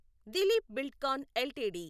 Dilip Buildcon LTD